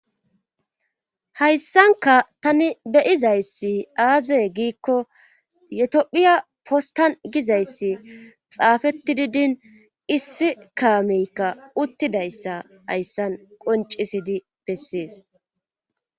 hayssanka tani beyizayssi aaze giikko yetiphiya postan gizayssi xaafetti didin issi kaameykka uttidayssa hayssan qoncisidi bessees